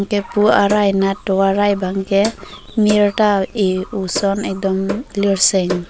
ke pu arai nat tovar arai bang ke mir ta eh o ason ehdom lirseng.